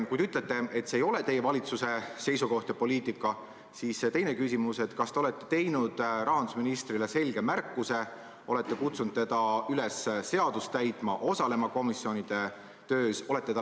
Kui te ütlete, et see ei ole teie valitsuse seisukoht ja poliitika, siis on mul teine küsimus: kas te olete teinud rahandusministrile selge märkuse, olete kutsunud teda üles seadust täitma, osalema komisjonide töös?